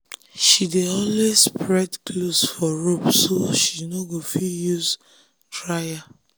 she dey always spread clothes for rope so she no go fit use dryer.